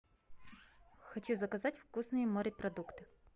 хочу заказать вкусные морепродукты